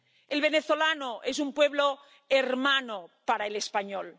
El venezolano es un pueblo hermano para el español.